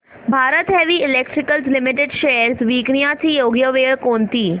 Bharat heavy electricals limited shares विकण्याची योग्य वेळ कोणती